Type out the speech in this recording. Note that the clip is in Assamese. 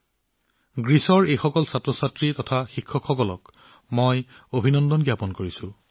মই গ্ৰীচৰ এই শিক্ষাৰ্থীসকল আৰু তেওঁলোকৰ শিক্ষকসকলক অভিনন্দন জনাইছো